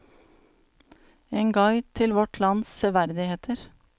En guide til vårt lands serverdigheter.